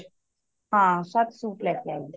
ਹਾਂ ਸੱਤ ਸੂਟ ਲੈ ਕੇ ਆਈ ਸੀ